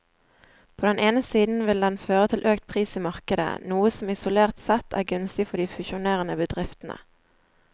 På den ene siden vil den føre til økt pris i markedet, noe som isolert sett er gunstig for de fusjonerende bedriftene.